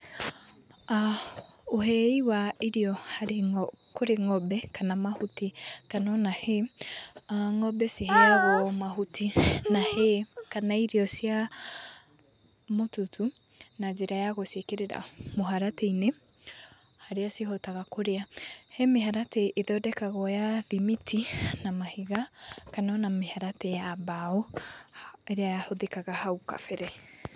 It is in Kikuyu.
Ũhei wa irio kũrĩ ng'ombe kana mahuti kana o na hay ng'ombe ciheagwo mahuti na hay kana irio cia mũtutu na njĩra ya gũciĩkĩrĩra mũharatĩ-inĩ harĩa cihotaga kũrĩa. He mĩharatĩ ĩthondekagwo ya thimiti na mahiga kana o na mĩharatĩ ya mbaũ ĩrĩa yahũthĩkaga hau kabere.